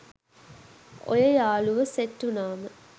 ඔය යාළුවො සෙට් උනාම